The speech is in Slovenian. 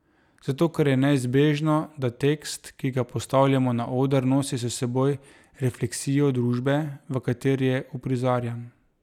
Zato ker je neizbežno, da tekst, ki ga postavljamo na oder, nosi s seboj refleksijo družbe, v kateri je uprizarjan.